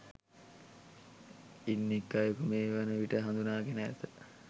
ඉන් එක් අයෙකු මේ වන විට හඳුනාගෙන ඇත